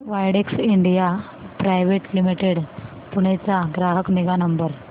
Widex India private limited Pune चा ग्राहक निगा नंबर